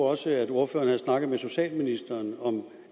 også at ordføreren havde snakket med socialministeren om